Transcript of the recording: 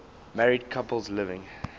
married couples living